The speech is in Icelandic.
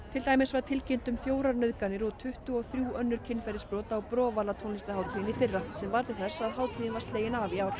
tilkynnt var um fjórar nauðganir og tuttugu og þrjú önnur kynferðisbrot á tónlistarhátíðinni í fyrra sem varð til þess að hátíðin var slegin af í ár